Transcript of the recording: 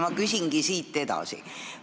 Ma küsingi siit edasi.